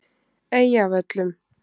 Eyjavöllum